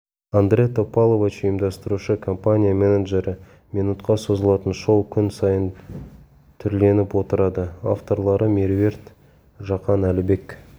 андре топалович ұйымдастырушы компания менеджері минутқа созылатын шоу күн сайын түрленіп отырады авторлары меруерт жақан әлібек